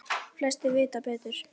Flestir vita betur.